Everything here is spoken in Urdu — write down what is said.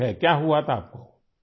کیا ہوا تھا آپ کو ؟